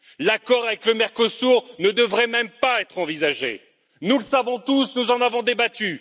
L'accord avec le Mercosur ne devrait même pas être envisagé, nous le savons tous, nous en avons débattu.